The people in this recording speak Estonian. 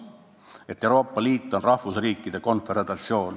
Et Euroopa Liit on tegelikult lõtv rahvusriikide konföderatsioon.